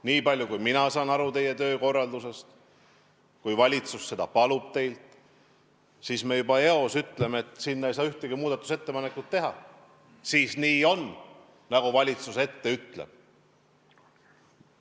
Niipalju kui mina saan aru teie töökorraldusest, on nii, et kui valitsus seda hääletust teilt palub, siis ta juba eos ütleb, et ei saa ühtegi muudatusettepanekut teha, ja siis on nii, nagu valitsus ette ütleb.